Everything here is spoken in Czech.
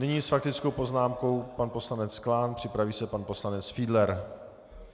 Nyní s faktickou poznámkou pan poslanec Klán, připraví se pan poslanec Fiedler.